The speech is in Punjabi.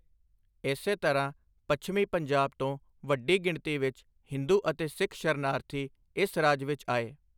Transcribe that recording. ਇਸੇ ਤਰ੍ਹਾਂ, ਪੱਛਮੀ ਪੰਜਾਬ ਤੋਂ ਵੱਡੀ ਗਿਣਤੀ ਵਿੱਚ ਹਿੰਦੂ ਅਤੇ ਸਿੱਖ ਸ਼ਰਨਾਰਥੀ ਇਸ ਰਾਜ ਵਿੱਚ ਆਏ।